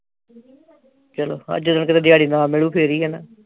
ਚਲੋ ਹਾ ਜਿੱਦਣ ਕਿਤੇ ਦਿਹਾੜੀ ਨਾ ਮਿਲੂ ਫਿਰ ਹੀ ਆ